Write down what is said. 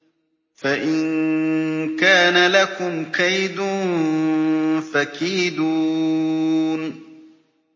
فَإِن كَانَ لَكُمْ كَيْدٌ فَكِيدُونِ